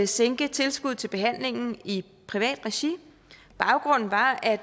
sænke tilskuddet til behandlingen i privat regi baggrunden var at